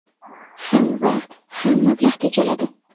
Ham vaqt, ham mablag‘ tejaladi.